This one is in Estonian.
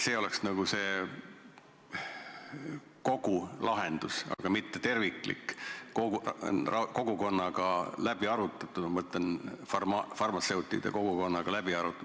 See oleks nagu kogu lahendus, aga mitte terviklik, kogukonnaga läbi arutatud, ma mõtlen farmatseutide kogukonnaga läbi arutatud.